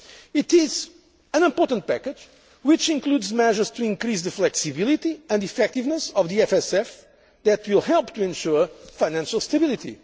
It is an important package which includes measures to increase the flexibility and effectiveness of the EFSF that will help to ensure financial stability.